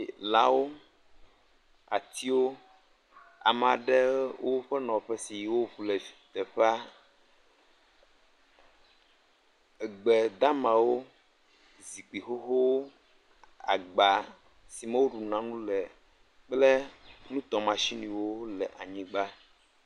Lãwo, atiwo, ame aɖewo ƒe nɔƒe si woŋu le teƒea. Gbe damawo, zikpui xoxowo, agba si me woɖuna nu le kple nutɔmashiniwo le anyigba.